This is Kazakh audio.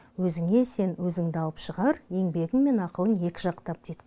өзіңе сен өзіңді алып шығар еңбегің мен ақылың екі жақтап дейді